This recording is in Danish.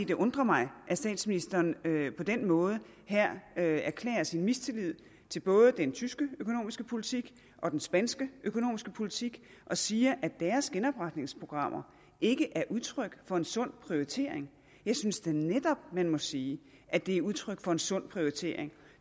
det undrer mig at statsministeren på den måde her erklærer sin mistillid til både den tyske økonomiske politik og den spanske økonomiske politik og siger at deres genopretningsprogrammer ikke er udtryk for en sund prioritering jeg synes da netop man må sige at det er udtryk for en sund prioritering